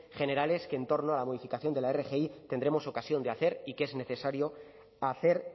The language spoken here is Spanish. generales que en torno a la modificación de la rgi tendremos ocasión de hacer y que es necesario hacer